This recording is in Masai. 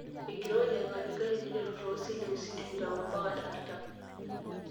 Enkirowuaj ekatikati naiteru too selisiusi tikitam ompaka artam.